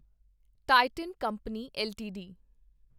Titan company LTD